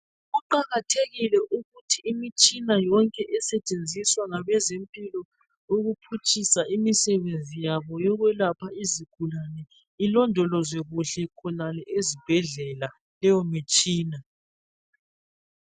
Kuqakathekile ukuthi imitshina yonke esetshenziswa ngabezempilo ukuphutshisa imisebenzi yabo yokwelapha izigulane ilondolozwe kuhle khonale ezibhedlela leyomitshina.